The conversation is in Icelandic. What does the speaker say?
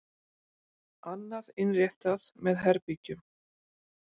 Annað innréttað með herbergjum.